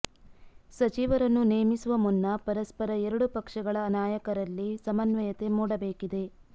ಸಚಿವರನ್ನು ನೇಮಿಸುವ ಮುನ್ನ ಪರಸ್ಪರ ಎರಡೂ ಪಕ್ಷಗಳ ನಾಯಕರಲ್ಲಿ ಸಮನ್ವಯತೆ ಮೂಡಬೇಕಿದೆ